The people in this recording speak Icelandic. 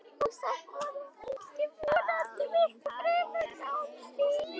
Og samt var það engin von heldur miklu fremur tálsýn.